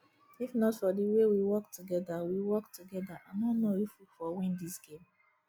if not for the way we work together we work together i no know if we for win dis game